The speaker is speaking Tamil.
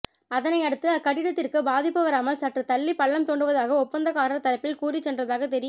அதனை அடுத்து அக்கட்டிடத்திற்கு பாதிப்பு வராமல் சற்று தள்ளி பள்ளம் தோண்டுவதாக ஒப்பந்ததாரர் தரப்பில் கூறிசென்றதாக தெரி